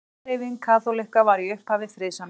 Mannréttindahreyfing kaþólikka var í upphafi friðsamleg.